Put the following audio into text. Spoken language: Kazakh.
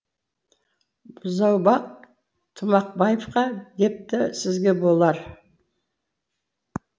бұзаубақ тымақбаевқа депті сізге болар